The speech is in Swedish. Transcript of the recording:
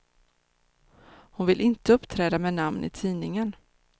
Hon vill inte uppträda med namn i tidningen.